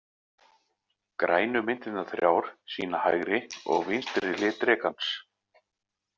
Grænu myndirnar þrjár sýna hægri og vinstri hlið drekans.